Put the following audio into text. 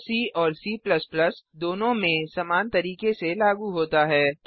यह सी और C दोनों में समान तरीके से लागू होता है